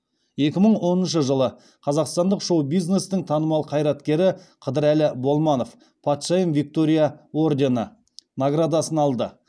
екі мың оныншы жылы қазақстандық шоу бизнестің танымал қайраткері қыдырәлі болманов патшайым виктория ордені наградасын алды